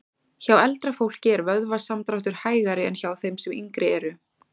Hjá eldra fólki er vöðvasamdráttur hægari en hjá þeim sem yngri eru.